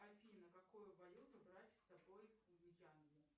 афина какую валюту брать с собой в мьянму